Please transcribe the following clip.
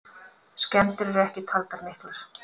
Skemmdir eru ekki taldar miklar.